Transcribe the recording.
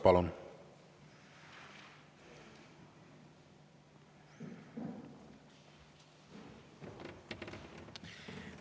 Palun!